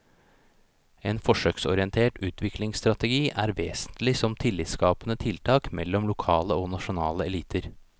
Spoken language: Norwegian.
En forsøksorientert utviklingsstrategi er vesentlig som tillitsskapende tiltak mellom lokale og nasjonale eliter.